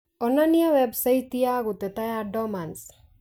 Onania website ya guteta ya Dormans